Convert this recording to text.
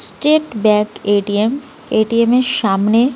state bank ATM ATM এর সামনে--